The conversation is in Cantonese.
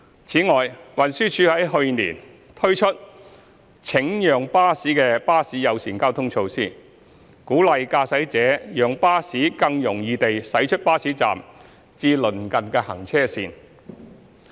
此外，運輸署於去年推出"請讓巴士"的巴士友善交通措施，鼓勵駕駛者讓巴士更容易地駛出巴士站至鄰近行車線。